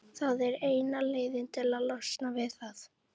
Það er eina leiðin til að losna við það.